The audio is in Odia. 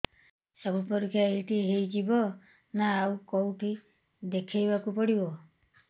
ସବୁ ପରୀକ୍ଷା ଏଇଠି ହେଇଯିବ ନା ଆଉ କଉଠି ଦେଖେଇ ବାକୁ ପଡ଼ିବ